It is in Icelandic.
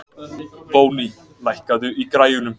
Voney, lækkaðu í græjunum.